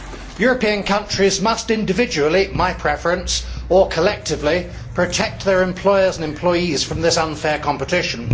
European countries must individually my preference or collectively protect their employers and employees from this unfair competition.